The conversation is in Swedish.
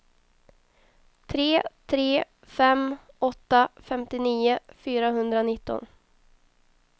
tre tre fem åtta femtionio fyrahundranitton